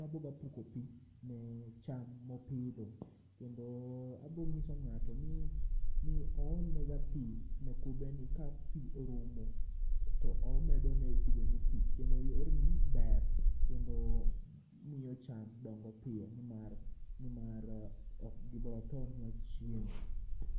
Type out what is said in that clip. maboga puko pi ne cham mopidho. Kendo abong'iso ng'ato ni oolnega pi ne kube ni ka pi orumo to omedo ne kube ni pi. Kendo yorni ber kendo miyo cham dongo piyo nimar nimar okgibotho miyo chiemo.